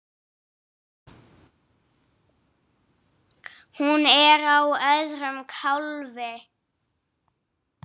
Hún er á öðrum kálfi.